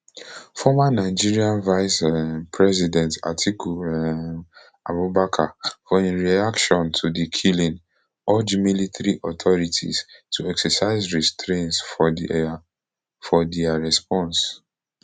former nigeria vice um president atiku um abubakar for im reaction to di killing urge military authorities to exercise restraints for dia for dia response